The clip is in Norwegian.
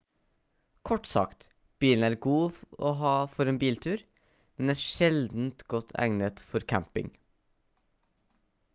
kort sagt bilen er god å ha for en biltur men er sjelden godt egnet for camping